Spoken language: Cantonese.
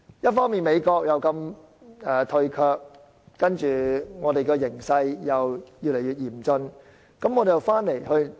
一方面，美國如此退卻，另一方面，我們面對的形勢又越來越嚴峻。